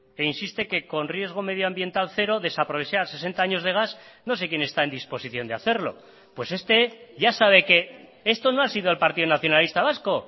e insiste que con riesgo medioambiental cero desaprovechar sesenta años de gas no sé quién está en disposición de hacerlo pues este ya sabe qué esto no ha sido el partido nacionalista vasco